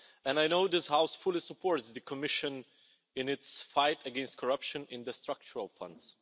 I know this House fully supports the Commission in its fight against corruption in the structural funds.